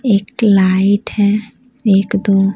एक लाइट है एक दो --